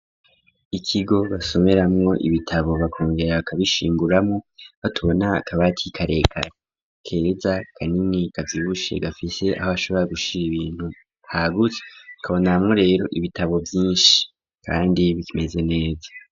Ikigo basomeramwo ibitabo bakongera bakabishinguramwo, batubona kabati karekare keza kanini kavyibushe gafise aho bashobora gushira ibintu hagutse, ikabonamwo rero ibitabo vyinshi kandi bimeze neza.